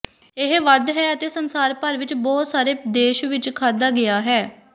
ਇਹ ਵਧ ਹੈ ਅਤੇ ਸੰਸਾਰ ਭਰ ਵਿੱਚ ਬਹੁਤ ਸਾਰੇ ਦੇਸ਼ ਵਿੱਚ ਖਾਧਾ ਗਿਆ ਹੈ